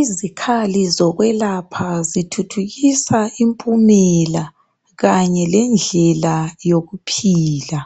Izikhali zokwelapha zithuthukisa impumela, kanye lendlela yokuphila.